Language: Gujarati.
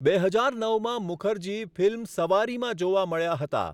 બે હજાર નવમાં મુખર્જી ફિલ્મ 'સવારી' માં જોવા મળ્યા હતા.